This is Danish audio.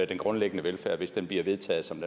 den grundlæggende velfærd hvis den bliver vedtaget som